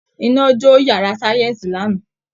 Iná jó yàrá sáyẹ́ǹsì lánàá